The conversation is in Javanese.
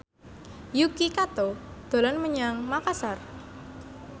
Yuki Kato dolan menyang Makasar